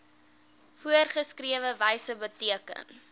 voorgeskrewe wyse beteken